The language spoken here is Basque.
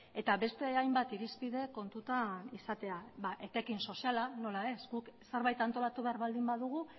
eta beste hainbat irizpide kontutan izatea ba etekin soziala nola ez guk zerbait antolatu behar baldin badugu